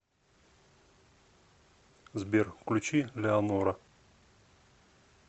сбер включи леонора